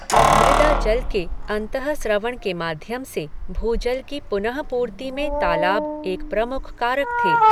अवमृदा जल के अंतःस्रवण के माध्यम से भूजल की पुनःपूर्ति में तालाब एक प्रमुख कारक थे।